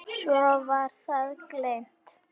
Svo var það gleymt.